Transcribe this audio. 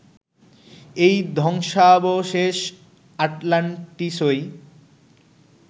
এই ধ্বংসাবশেষ আটলান্টিসই